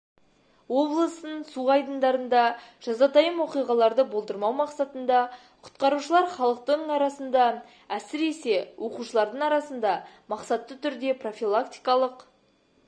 облыстың су айдындарында жазатайым оқиғаларды болдырмау мақсатында құтқарушылар халықтың арасында әсіресе оқушылардың арасында мақсатты түрде профилактикалық